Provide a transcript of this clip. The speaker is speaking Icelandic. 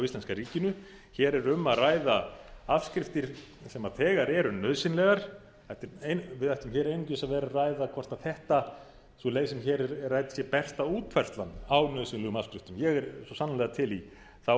íslenska ríkinu hér er um að ræða afskriftir sem þegar eru nauðsynlegar við ættum hér einungis að vera að ræða hvort þessi leið sem hér er rædd sé besta útfærslan á nauðsynlegum afskriftum ég er svo sannarlega til í þá